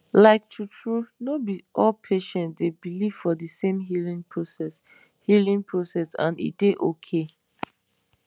like true true no be all patients dey believe for de same healing process healing process and e dey okay